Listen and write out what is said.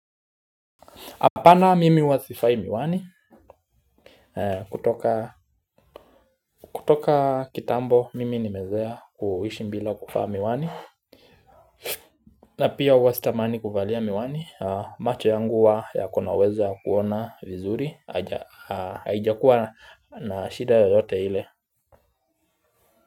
Apana mimi huwa sivai miwani kutoka kitambo mimi nimezoea kuishi bila kuvaa miwani. Na pia huwa sitamani kuvalia miwani macho yangu huwa yako na uwezo ya kuona vizuri haijakua na shida yoyote ile.